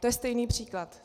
To je stejný příklad.